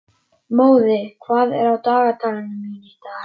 Móði, hvað er á dagatalinu mínu í dag?